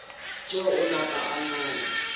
tšeo a napa a ngala